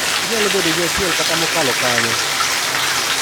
Inyalo bedo gi achiel kata mokalo kanyo.